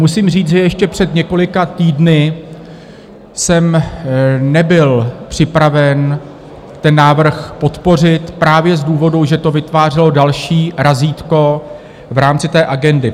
Musím říct, že ještě před několika týdny jsem nebyl připraven ten návrh podpořit právě z důvodu, že to vytvářelo další razítko v rámci té agendy.